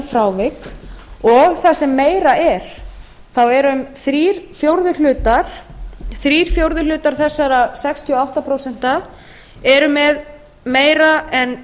frávik og það sem meira er þá eru um þrír fjórðu þessara sextíu og átta prósent eru með meira en